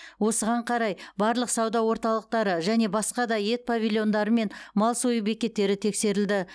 осыған қарай барлық сауда орталықтары және басқа да ет павильондары мен мал сою бекеттері тексерілді